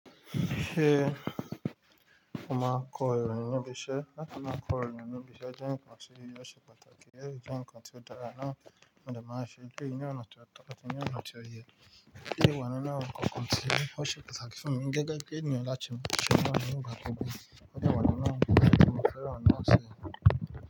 Ṣé o máa kọ ìròyìn níbi iṣẹ́? Láti máa kọ ìròyìn níbi iṣẹ́ jẹ́ ǹkan tó ṣe pàtàkì, èyí jẹ́ ǹkan tí ó dára náà mo dẹ máa ń ṣe. Gbé ìyè ọ̀nà tó tọ́, tọ́ ọkùnrin ní ọ̀nà tí ó yẹ, kí ìwà nínú àwọn kọ̀ọ̀kan tí ó ṣe pàtàkì fún mi gẹ́gẹ́ bí ènìyàn láti mú àwọn ènìyàn gbàgbé. Ọ̀pọ̀lọpọ̀ àwọn ènìyàn máa ń fẹ́ran láti ṣe.